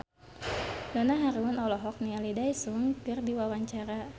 Donna Harun olohok ningali Daesung keur diwawancara